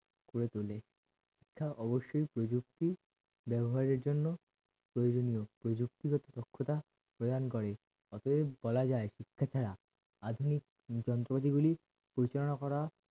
করে তোলে শিক্ষার অবশ্যই প্রযুক্তি ব্যবহারের জন্য প্রয়োজনীয় প্রযুক্তিবোধ দক্ষতা প্রদান করে অতএব বলা যায় শিক্ষা ছাড়া আধুনিক যন্ত্রপাতি গুলি পরিচালনা করা